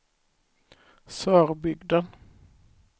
Sörbygden